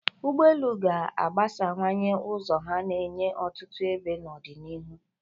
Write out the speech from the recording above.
Ụgbọ elu ga-agbasawanye ụzọ ha na-enye ọtụtụ ebe n'ọdịnihu.